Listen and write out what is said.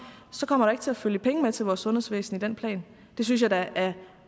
kommer der ikke til at følge penge med til vores sundhedsvæsen i den plan det synes jeg da er